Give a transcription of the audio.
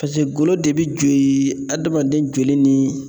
Pase golo de be jo ii hadamaden joli ni